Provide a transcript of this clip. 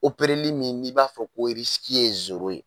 min n'i b'a fɔ ko ye ye.